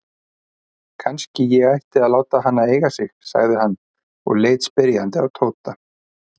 Kannski ég ætti að láta hana eiga sig? sagði hann og leit spyrjandi á Tóta.